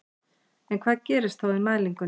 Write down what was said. En hvað gerist þá í mælingunni?